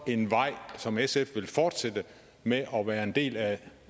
en vej som sf vil fortsætte med at være en del af